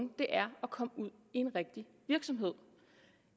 er at komme ud i en rigtig virksomhed